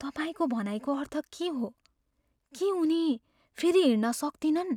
तपाईँको भनाइको अर्थ के हो? के उनी फेरि हिँड्न सक्तिनन्?